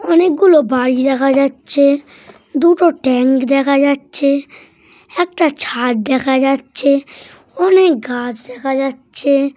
অনেকগুলো বাড়ি দেখা যাচ্ছে দুটো ট্যাঙ্ক দেখা যাচ্ছে একটা ছাদ দেখা যাচ্ছে অনেক গাছ দেখা যাচ্ছে ।